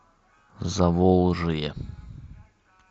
заволжье